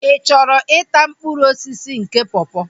Ị chọrọ ịta mkpụrụ osisi nke pọpọ?